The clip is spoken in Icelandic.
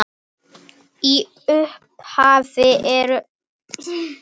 Í upphafi eru öldur.